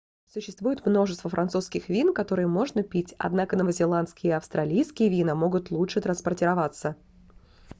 существует множество французских вин которые можно пить однако новозеландские и австралийские вина могут лучше транспортироваться